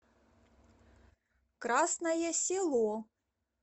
красное село